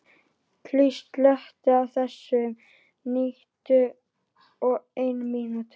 Ylva, slökktu á þessu eftir níutíu og eina mínútur.